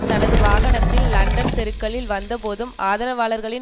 தனது வாகனத்தில் லண்டன் தெருக்களில் வந்தபோதும் ஆதரவாளர்களின்